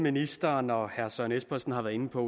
ministeren og herre søren espersen har været inde på